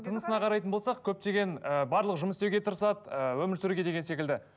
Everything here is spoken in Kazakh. тынысына қарайтын болсақ көптеген ы барлығы жұмыс істеуге тырысады ы өмір сүруге деген секілді